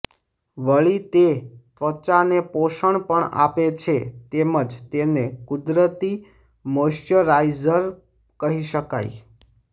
વળી તે ત્વચાને પોષણ પણ આપે છે તેમજ તેને કુદરતી મોઇસ્ચરાઇઝર કહી શકાય